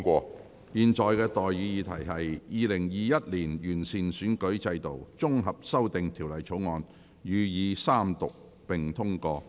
我現在向各位提出的待議議題是：《2021年完善選舉制度條例草案》予以三讀並通過。